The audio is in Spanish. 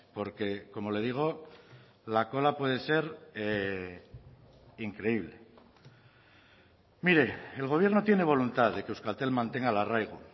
porque como le digo la cola puede ser increíble mire el gobierno tiene voluntad de que euskaltel mantenga el arraigo